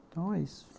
Então, é isso.